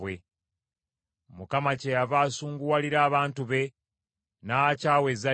Mukama kyeyava asunguwalira abantu be, n’akyawa ezzadde lye.